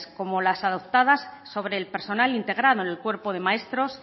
como las adoptadas sobre el personal integrado en el cuerpo de maestros